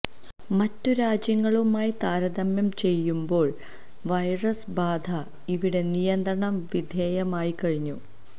മറ്റു രാജ്യങ്ങളുമായി താരതമ്യം ചെയയുമ്പോള് വൈറസ് ബാധ ഇവിടെ നിയന്ത്രണ വിധേയമായിക്കഴിഞ്ഞു